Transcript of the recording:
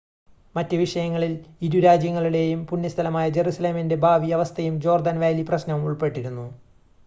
മറ്റ് വിഷയങ്ങളിൽ ഇരു രാജ്യങ്ങളുടേയും പുണ്യ സ്ഥലമായ ജെറുസലേമിൻ്റെ ഭാവി അവസ്ഥയും ജോർദാൻ വാലി പ്രശ്‌നവും ഉൾപ്പെട്ടിരുന്നു